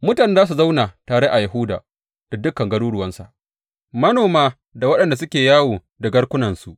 Mutane za su zauna tare a Yahuda da dukan garuruwansa, manoma da waɗanda suke yawo da garkunansu.